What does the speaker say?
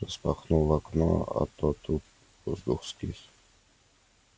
распахнул окно а то тут воздух скис